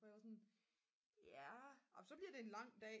hvor jeg var sådan jamen så bliver det en lang dag